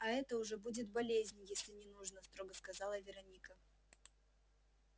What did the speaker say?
а это уже будет болезнь если не нужно строго сказала вероника